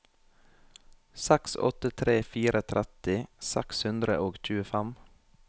seks åtte tre fire tretti seks hundre og tjuefem